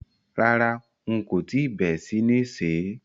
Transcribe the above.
Rárá, n kò tíì bé sí ní sè é.